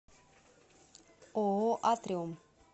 ооо атриум